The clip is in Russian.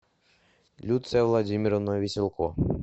люция владимировна веселко